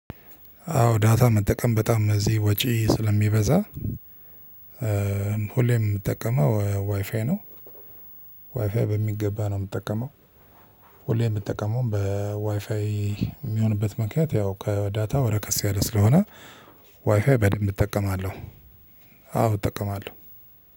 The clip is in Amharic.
አዎ ዳታ መጠቀም በጣም እዚህ ወጪ ስለሚበዛ ሁሌም የምጠቀመው ዋይፋይ ነው። ዋይፋይ በሚገባ ነው የምጠቀመው። ሁሌ የምትጠቀመውም በዋይፋይ የሚሆንበት ምክንያት ያው ከዳታው ረከስ ያለ ስለሆነ ዋይፋይ በደንብ እጠቀማለሁ። አዎ እጠቀማለሁ።